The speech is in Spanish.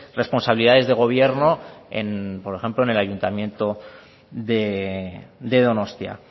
responsabilidad de gobierno en por ejemplo en el ayuntamiento de donostia